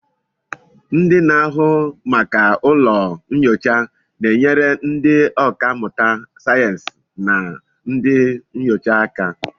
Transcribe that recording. Ndị na-ahụ maka ụlọ nyocha na-enyere ndị ọkà mmụta sayensị na ndị nyocha aka